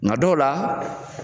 Nga dɔw la